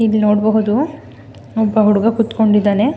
ಈಗ ನೋಡಬಹುದು ಒಬ್ಬ ಹುಡುಗಾ ಕೂತಕೊಂಡಿದ್ದಾನೆ.